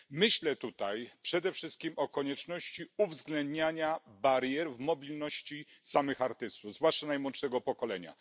Myślę tutaj przede wszystkim o konieczności uwzględniania barier w mobilności samych artystów, zwłaszcza najmłodszego pokolenia.